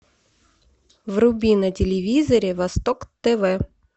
вруби на телевизоре восток тв